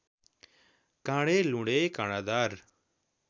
काँडे लुँडे काँडादार